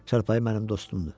Çarpayı mənim dostumdur.